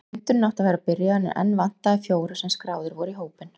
Fundurinn átti að vera byrjaður en enn vantaði fjóra sem skráðir voru í hópinn.